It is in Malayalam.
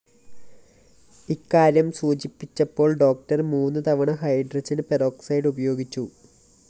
ഇക്കാര്യം സൂചിപ്പിച്ചപ്പോള്‍ ഡോക്ടർ മൂന്ന് തവണ ഹൈഡ്രോജൻ പെറോക്സൈഡ്‌ ഉപയോഗിച്ചു